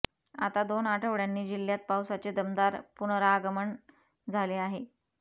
आता दोन आठवड्यांनी जिल्ह्यात पावसाचे दमदार पुनरागमन झाले आहे